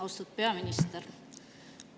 Austatud peaminister!